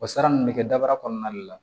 O sara nin bɛ kɛ daba kɔnɔna de la